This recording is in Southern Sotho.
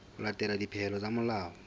ho latela dipehelo tsa molao